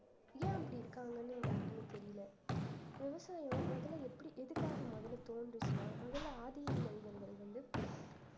ஏன் அப்படி இருக்காங்கன்னு யாருக்குமே தெரியல விவசாயம் முதல்ல எப்படி எதுக்காக முதல்ல தோன்றுச்சுன்னா முதல்ல ஆதி மனிதர்கள் வந்து